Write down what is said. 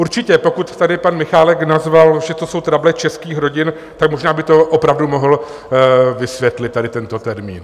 Určitě, pokud tady pan Michálek nazval, že to jsou trable českých rodin, tak možná by to opravdu mohl vysvětlit, tady tento termín.